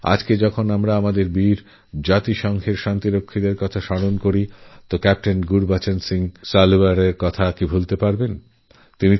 আজ যখন রাষ্ট্রসঙ্ঘ শান্তিরক্ষা বাহিনীর কথা আমরা স্মরণ করছি তখন ক্যাপ্টেনগুরবচন সিংহ সালারিয়ার কথা কে ভুলতে পারে